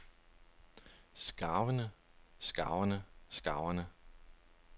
skarverne skarverne skarverne